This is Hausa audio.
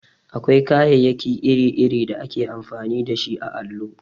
Akwai kayayyaki iri-iri da ake amfani dashi a allo.